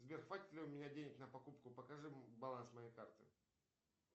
сбер хватит ли у меня денег на покупку покажи баланс моей карты